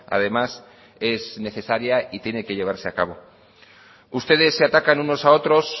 además es necesaria y tiene que llevarse a cabo ustedes se atacan unos a otros